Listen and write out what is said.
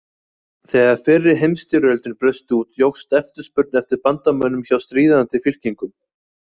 Þegar fyrri heimstyrjöldin braust út jókst eftirspurn eftir bandamönnum hjá stríðandi fylkingum.